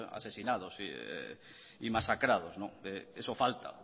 asesinados y masacrados eso falta